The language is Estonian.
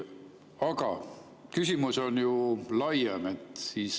Aga küsimus on ju laiem.